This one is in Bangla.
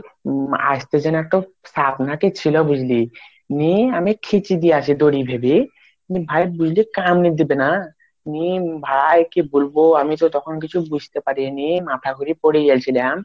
হুম আস্ত নাকি স্যাপ না কি ছিল বুঝলি আমি মানে খিচে নিয়ে আসি দড়ি ভেবে ঐটা কান ই দিবে না মিম ভাই আমি কি বলব আমি তো তখন কিছু বুঝতে পারিনি মাথা ঘুরে পরে জাইছি তখন